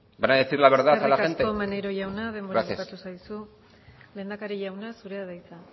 van a decir la verdad a la gente gracias eskerrik asko maneiro jauna denbora bukatu zaizu lehendakari jauna zurea da hitza